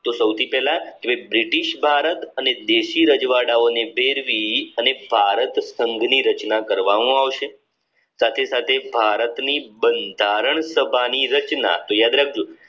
British Bharat અને દેશી રજવાડાઓને ભેળવી અને ભારત સંઘ ની રચના કરવામાં આવશે સાથે સાથે ભારતની બંધારણ સભાની રચના તો યાદ રાખજો